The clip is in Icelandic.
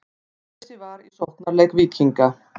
Bitleysi var í sóknarleik Víkinga.